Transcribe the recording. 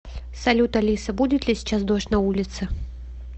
салют алиса будет ли сейчас дождь на улице